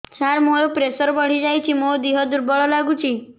ସାର ମୋର ପ୍ରେସର ବଢ଼ିଯାଇଛି ମୋ ଦିହ ଦୁର୍ବଳ ଲାଗୁଚି